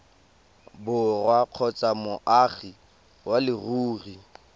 borwa kgotsa moagi wa leruri